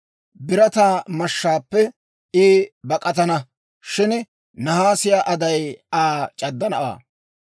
Birataa mashshaappe I bak'atana; shin naasiyaa aday Aa c'addanawaa.